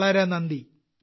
വളരെ നന്ദി